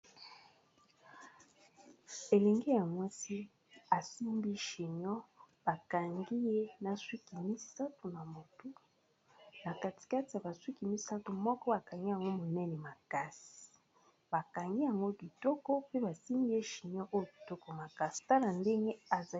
Elenge ya mwasi, asimbi chignon bakangi ye na sukì misatù na mutu. Na katikati ya basukì misatu, moko bakangi yango monene makasi bakangi yango kitoko pe basimbiye chignon oyo kitokomakasi. Tala ndenge azali.